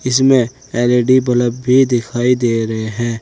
इसमें L E D bulb भी दिखाई दे रहे हैं।